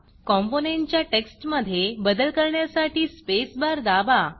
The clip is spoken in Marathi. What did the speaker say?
कॉम्पोनंटच्या टेक्स्टमधे बदल करण्यासाठी स्पेसबार दाबा